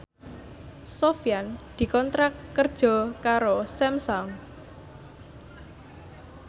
Sofyan dikontrak kerja karo Samsung